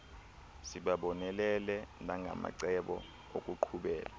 sibabonelele nangamacebo okuqhubela